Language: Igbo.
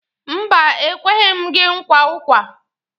Mba, e kweghi m gị nkwa ụkwa.